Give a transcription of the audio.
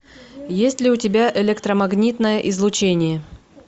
есть ли у тебя электромагнитное излучение